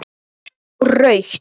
Sá rautt.